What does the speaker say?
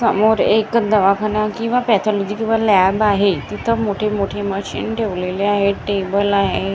समोर एक दवाखाना किंवा पॅथॉलॉजी किंवा लॅब आहे तिथं मोठे मोठे मशीन ठेवलेले आहे टेबल आहे.